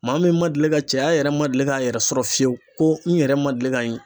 Maa min ma deli ka cɛya yɛrɛ ma deli k'a yɛrɛ sɔrɔ fiyewu, ko n yɛrɛ ma deli ka ye